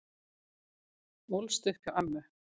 Ólst upp hjá ömmu